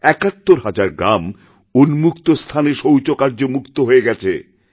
৭১ হাজার গ্রাম উন্মুক্ত স্থানে শৌচকার্যমুক্ত হয়ে গেছে